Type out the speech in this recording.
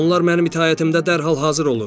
Onlar mənim itaətimdə dərhal hazır olur.